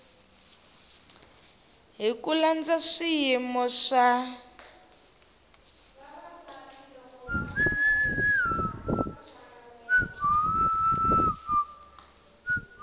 hi ku landza swiyimo swa